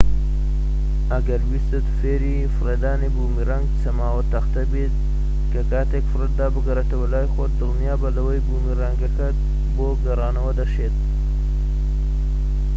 ئەگەر ویستت فێری فڕێدانی بومیرانگ [چەماوە تەختە] ببیت کە کاتێك فڕێتدا بگەڕێتەوە لای خۆت، دڵنیابە لەوەی بومیرانگەکەت بۆ گەڕانەوە دەشێت